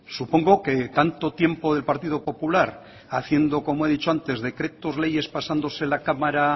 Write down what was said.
supongo que tanto tiempo del partido popular haciendo como he dicho antes decretos leyes pasando la cámara